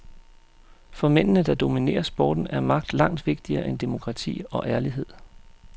For mændene, der dominerer sporten, er magt langt vigtigere end demokrati og ærlighed.